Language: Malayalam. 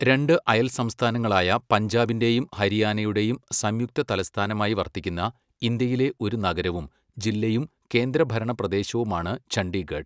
രണ്ട് അയൽ സംസ്ഥാനങ്ങളായ പഞ്ചാബിന്റെയും ഹരിയാനയുടെയും സംയുക്ത തലസ്ഥാനമായി വർത്തിക്കുന്ന ഇന്ത്യയിലെ ഒരു നഗരവും ജില്ലയും കേന്ദ്രഭരണ പ്രദേശവുമാണ് ചണ്ഡീഗഡ്.